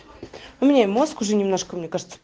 у меня мозг уже немножко мне кажется